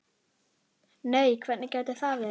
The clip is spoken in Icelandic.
Nei hvernig gæti það verið?